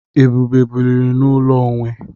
Ebube biri n'ụlọ onwe.